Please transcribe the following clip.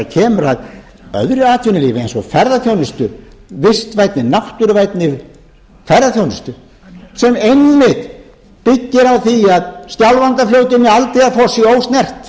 kemur að öðru atvinnulífi eins og ferðaþjónustu vistvænni náttúruvænni ferðaþjónustu sem einmitt byggir á því að skjálfandafljótið og aldeyjarfoss séu ósnert